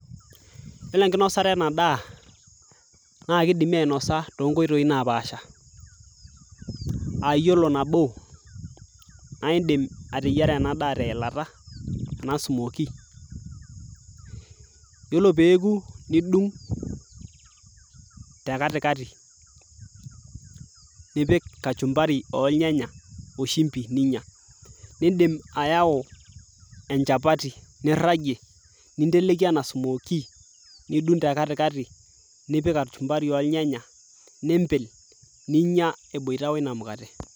yiolo enkinosata ena daa naakidimi ainosa tonkoitoi napaasha aa yiolo nabo naindim ateyiara ena daa teilata ena smokie yiolo peeku nidung' te katikati nipik kachumbari olnyanya oshimbi ninyia nindim ayau enchapati nirragie ninteleki ena smokie nidung te katikati nipik kachumbari olnyanya nimpil ninyia eboita woina mukate.